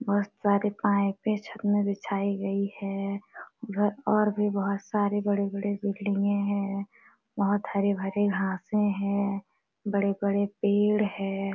बोहोत सारे पाइपे छत मैं बिछाई गई है ब और भी बोहोत सारे बड़े - बड़े बिल्डिंगे हैं बोहोत हरे - भरे घासे हैं बड़े - बड़े पेड़ है।